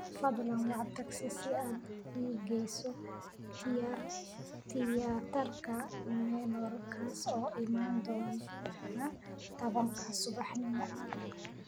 fadlan wac tagsi si aad ii geyso tiyaatarka manor kaas oo imaan doona tobanka subaxnimo